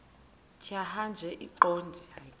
tjhaya nje iqondee